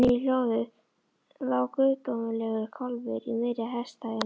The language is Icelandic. Inni í hlöðu lá guðdómlegur kálfur í miðri heystæðunni.